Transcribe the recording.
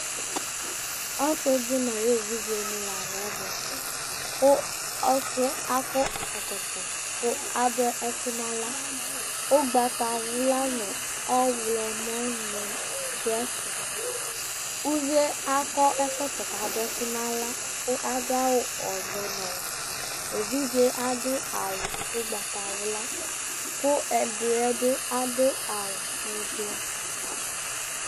Ɔsɩ dɩ nʋ ayʋ evidzenɩ la dʋ ɛvɛ kʋ ɔsɩ akɔ ɛkɔtɔ kʋ adʋ ɛkʋ nʋ aɣla Ʋgbatawla nʋ ɔɣlɔmɔ dʋ ɛfɛ Uvi akɔ ɛkɔtɔ kʋ adʋ ɛkʋ nʋ aɣla kʋ adʋ awʋ ɔvɛ nʋ ɔwɛ Evidze yɛ adʋ awʋ ʋgbatawla kʋ ɛdɩ yɛ bɩ adʋ awʋ ɛblɔ